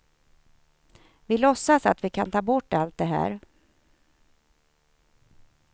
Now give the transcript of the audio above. Vi låtsas att vi kan ta bort allt det här.